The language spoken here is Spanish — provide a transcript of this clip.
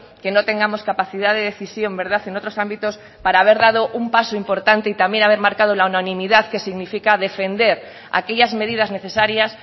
que no tengamos capacidad de decisión verdad en otros ámbitos para haber dado un paso importante y también haber marcado la unanimidad que significa defender aquellas medidas necesarias